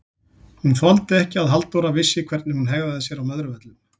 Hún þoldi ekki að Halldóra vissi hvernig hún hegðaði sér á Möðruvöllum!